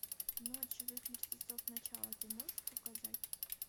ночь живых мертвецов начало ты можешь показать